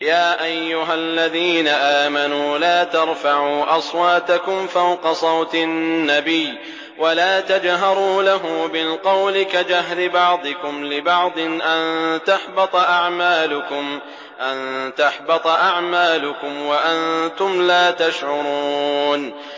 يَا أَيُّهَا الَّذِينَ آمَنُوا لَا تَرْفَعُوا أَصْوَاتَكُمْ فَوْقَ صَوْتِ النَّبِيِّ وَلَا تَجْهَرُوا لَهُ بِالْقَوْلِ كَجَهْرِ بَعْضِكُمْ لِبَعْضٍ أَن تَحْبَطَ أَعْمَالُكُمْ وَأَنتُمْ لَا تَشْعُرُونَ